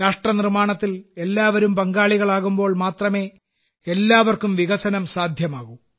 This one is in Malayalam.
രാഷ്ട്രനിർമ്മാണത്തിൽ എല്ലാവരും പങ്കാളികളാകുമ്പോൾ മാത്രമേ എല്ലാവർക്കും വികസനം സാധ്യമാകൂ